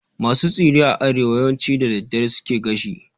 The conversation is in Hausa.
Masu tsire a arewa yawanci da daddare suke gashi